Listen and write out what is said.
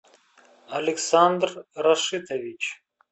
александр рашитович